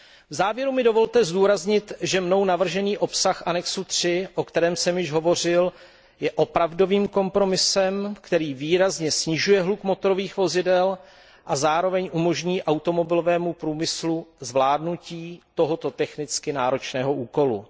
V závěru mi dovolte zdůraznit, že mnou navržený obsah přílohy III, o které jsem již hovořil, je opravdovým kompromisem, který výrazně snižuje hluk motorových vozidel a zároveň umožní automobilovému průmyslu zvládnutí tohoto technicky náročného úkolu.